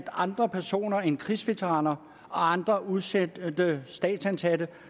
andre personer end krigsveteraner og andre udsendte statsansatte